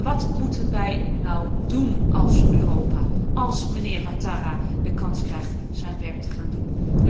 Wat moeten wij nu doen als Europa, als mijnheer Ouattara de kans krijgt zijn werk te gaan doen?